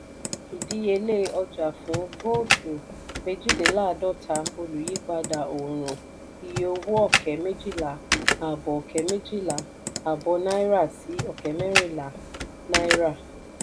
ìdíyelé ọjà fún vóótù méjìdínláàdọ́ta olùyípadà òòrùn iye owó ọ̀kẹ́ méjìlá àbọ̀ ọ̀kẹ́ méjìlá àbọ̀ náírà sí ọ̀kẹ́ mẹ̀rinlá náírà.